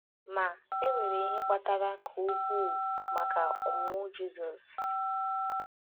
Ma, e nwere ihe kpatara ka ukwuu maka ọmụmụ Jizọs.